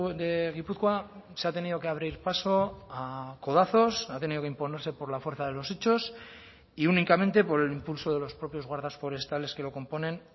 de guipúzcoa se ha tenido que abrir paso a codazos ha tenido que imponerse por la fuerza de los hechos y únicamente por el impulso de los propios guardas forestales que lo componen